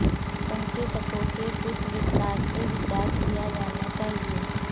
संकेतकों के कुछ विस्तार से विचार किया जाना चाहिए